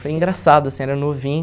Foi engraçado, assim, era novinho.